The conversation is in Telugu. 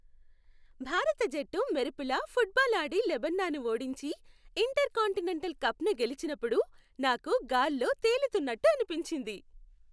భారత జట్టు మెరుపులా ఫుట్బాల్ ఆడి లెబనాన్ను ఓడించి, ఇంటర్కాంటినెంటల్ కప్ను గెలిచినప్పుడు నాకు గాల్లో తేలుతున్నట్టు అనిపించింది.